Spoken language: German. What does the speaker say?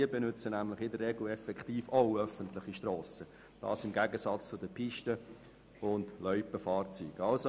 Im Gegensatz zu den Pisten- und Loipenfahrzeugen benützen diese in der Regel tatsächlich auch öffentliche Strassen.